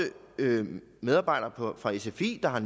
medarbejdere fra sfi der har